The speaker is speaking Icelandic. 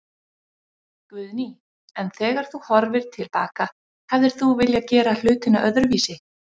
Guðný: En þegar þú horfir til baka, hefðir þú viljað gera hlutina öðruvísi?